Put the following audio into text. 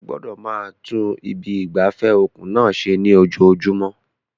Ẹ gbọ́dọ̀ máa tún ibi ìgbafẹ́ òkun náà ṣe ní ojoojúmọ́.